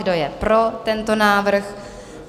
Kdo je pro tento návrh?